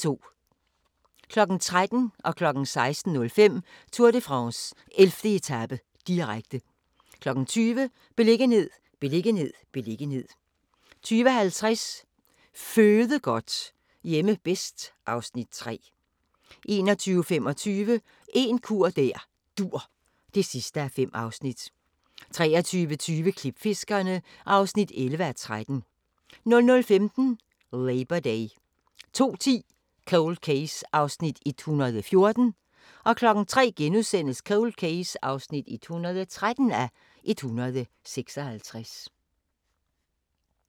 13:00: Tour de France: 11. etape, direkte 16:05: Tour de France: 11. etape, direkte 20:00: Beliggenhed, beliggenhed, beliggenhed 20:50: Føde godt - hjemme bedst (Afs. 3) 21:25: En kur der dur (5:5) 23:20: Klipfiskerne (11:13) 00:15: Labor Day 02:10: Cold Case (114:156) 03:00: Cold Case (113:156)*